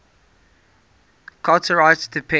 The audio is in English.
charter rights depend